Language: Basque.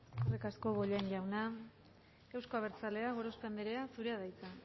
eskerrik asko bollain jauna euzko abertzaleak gorospe anderea zurea da hitza